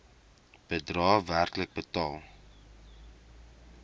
bedrae werklik betaal